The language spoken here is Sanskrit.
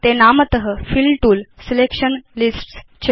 ते नामत फिल तूल सिलेक्शन लिस्ट्स् च